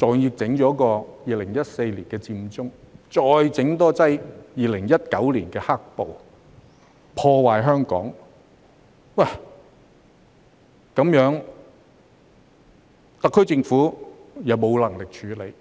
還要在2014年弄出佔中，更在2019年弄出"黑暴"，破壞香港，而特區政府卻沒有能力處理。